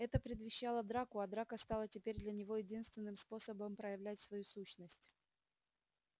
это предвещало драку а драка стала теперь для него единственным способом проявлять свою сущность